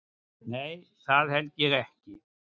Nei það held ég ekki.